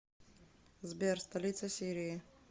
сбер столица сирии